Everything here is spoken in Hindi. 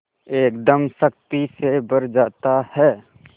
एकदम शक्ति से भर जाता है